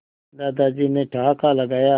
दादाजी ने ठहाका लगाया